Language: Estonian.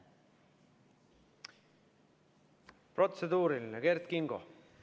Protseduuriline, Kert Kingo!